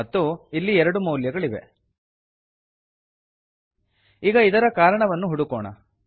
ಮತ್ತು ಇಲ್ಲಿ ಎರಡು ಮೌಲ್ಯಗಳಿವೆ ಈಗ ಇದರ ಕಾರಣವನ್ನು ಹುಡುಕೋಣ